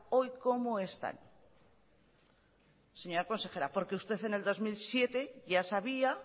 hoy cómo están señora consejera porque usted en el dos mil siete ya sabía